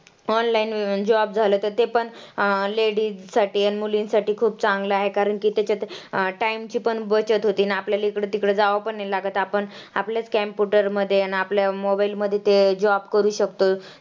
online job झालं तर ते पण अं ladies साठी आणि मुलींसाठी खूप चांगलं आहे कारण की तेच्यात अं time ची पण बचत होती ना आपल्याला हिकडं-तिकडं जावावं पण नाही लागत. आपण आपल्याच computer मध्ये आणि आपल्या mobile मध्ये ते job करू शकतो.